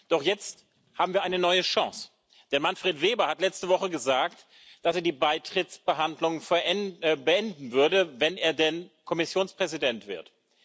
Doch jetzt haben wir eine neue Chance, denn Manfred Weber hat letzte Woche gesagt, dass er die Beitrittsverhandlungen beenden würde, wenn er denn Kommissionspräsident wird.